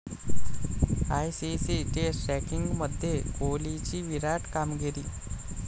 ICC test रँकिंगमध्ये कोहलीची 'विराट' कामगिरी